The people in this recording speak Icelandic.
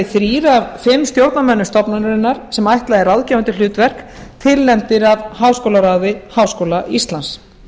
þrír af fimm stjórnarmönnum stofnunarinnar sem ætlað er ráðgefandi hlutverk tilnefndir af háskólaráði háskóla íslands